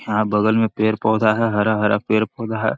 यहाँ बगल में पेड़-पौधा है हरा-हरा पेड़-पौधा हैI